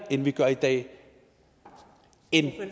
end vi gør i dag